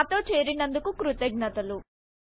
మాతో చేరినందుకు కృతజ్ఞతలు